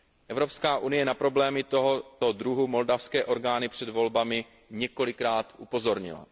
EU na problémy tohoto druhu moldavské orgány před volbami několikrát upozornila.